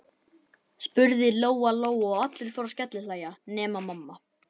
spurði Lóa Lóa, og allir fóru að skellihlæja nema mamma.